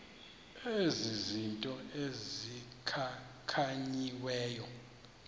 ezi zinto zikhankanyiweyo